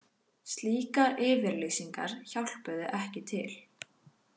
Slíkar yfirlýsingar hjálpuðu ekki til